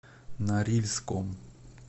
норильском